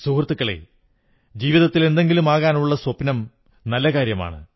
സുഹൃത്തുക്കളേ ജീവിതത്തിൽ എന്തെങ്കിലുമാകാനുള്ള സ്വപ്നം നല്ലകാര്യമാണ്